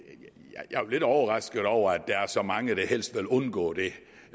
lidt overrasket over at der er så mange der helst vil undgå det